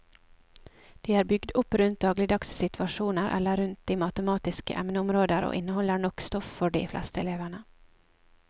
De er bygd opp rundt dagligdagse situasjoner eller rundt matematiske emneområder og inneholder nok stoff for de fleste elevene.